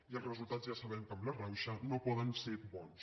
i els resultats ja sabem que amb la rauxa no poden ser bons